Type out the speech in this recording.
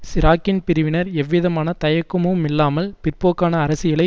சிராக்கின் பிரிவினர் எவ்விதமான தயக்கமுமில்லாமல் பிற்போக்கான அரசியலை